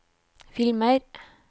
filmer